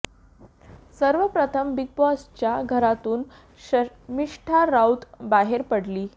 सर्व प्रथम बिग बॉसच्या घरातून शर्मिष्ठा राऊत बाहेर पडली